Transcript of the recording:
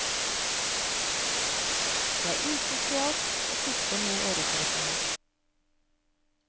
Det er usosialt å sitte med øretelefoner.